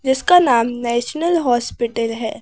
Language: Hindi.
जिसका नाम नेशनल हॉस्पिटल है।